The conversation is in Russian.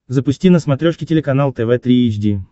запусти на смотрешке телеканал тв три эйч ди